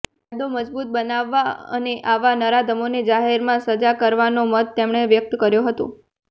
કાયદો મજબૂત બનાવવા અને આવા નરાધમોને જાહેરમાં જ સજા કરવાનો મત તેમણે વ્યક્ત કર્યો હતો